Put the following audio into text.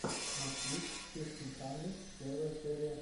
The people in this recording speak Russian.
москвич фифтин хандридс первая серия